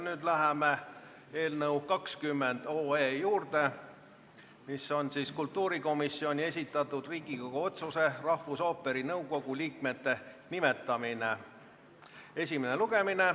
Nüüd läheme eelnõu 20 juurde: kultuurikomisjoni esitatud Riigikogu otsuse "Rahvusooperi nõukogu liikmete nimetamine" eelnõu esimene lugemine.